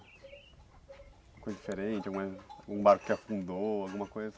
coisa diferente, alguma algum barco que afundou, alguma coisa?